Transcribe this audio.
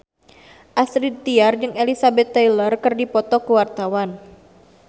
Astrid Tiar jeung Elizabeth Taylor keur dipoto ku wartawan